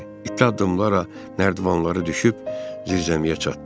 İti addımlarla nərdivanları düşüb zirzəmiyə çatdı.